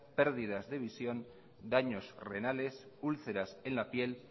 pérdidas de visión daños renales úlceras en la piel